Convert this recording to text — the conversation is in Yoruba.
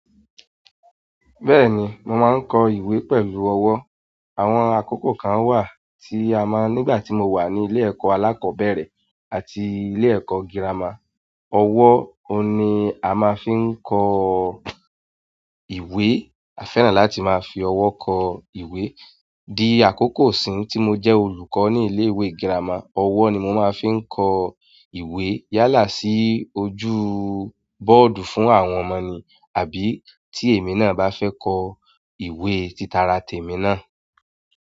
Bẹ́ẹ̀ni, mo máa ń kọ ìwé pẹ̀lú ọwọ́. Àwọn àkókò kan wà tí a máa nígbà tí mo wà ní ilé ẹ̀kọ́ alákọ̀ọ́bẹ̀rẹ̀ àti ilé ẹ̀kọ́ girama, ọwọ́ oun ni a máa fi ń kọ ìwé. A fẹ́ràn láti máa fi ọwọ́ kọ ìwé. Di akoko isin ti mo je olùkọ́ ni ilewe girama owo ni mo maa n fi n ko ìwé yálà sí ojú bọ́ọ̀dù fún àwọn ọmọ mi àbí tí èmi náà bá fẹ́ kọ ìwé títara tèmi náà.